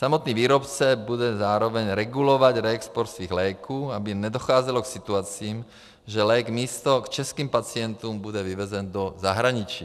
Samotný výrobce bude zároveň regulovat reexport svých léků, aby nedocházelo k situacím, že lék místo k českým pacientům bude vyvezen do zahraničí.